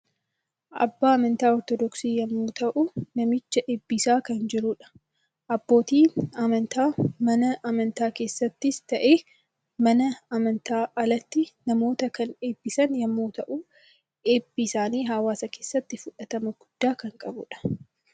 Abbaa amantaa Ortodooksii yommuu ta'u namicha eebbisaa kan jirudha. Abbootiin amantii mana amantaa keessattis ta'ee mana amantaan alatti namoota kan eebbisan yommuu ta'u, ebbing isaanii hawaasa keessatti fudhatama guddaa kan qabudha.